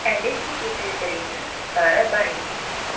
әлі де жетілдіретін тұстары бар екен